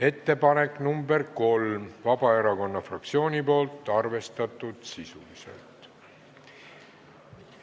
Ettepanek nr 3, esitanud Vabaerakonna fraktsioon, arvestatud sisuliselt.